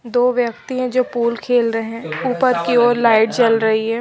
दो व्यक्ति हैं जो पोल खेल रहें ऊपर की ओर लाइट जल रहीं हैं।